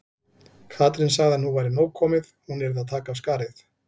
Katrín sagði að nú væri nóg komið, hún yrði að taka af skarið.